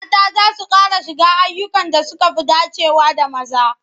Mata za su ƙara shiga ayyukan da suka fi dacewa da maza.